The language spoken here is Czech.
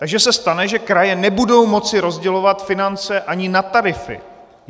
Takže se stane, že kraje nebudou moci rozdělovat finance ani na tarify!